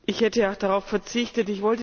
Ich hätte ja auch darauf verzichtet.